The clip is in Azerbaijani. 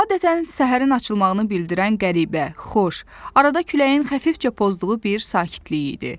Adətən səhərin açılmağını bildirən qəribə, xoş, arada küləyin xəfifcə pozduğu bir sakitliyi idi.